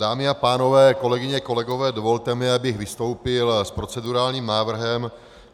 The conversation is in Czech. Dámy a pánové, kolegyně, kolegové, dovolte mi, abych vystoupil s procedurálním návrhem.